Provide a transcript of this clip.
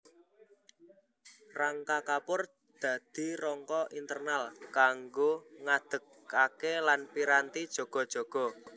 Rangka kapur dadi rangka internal kanggo ngadegkaké lan piranti jaga jaga